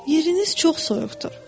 Yeriniz çox soyuqdur.